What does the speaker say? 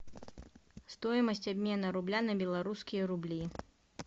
стоимость обмена рубля на белорусские рубли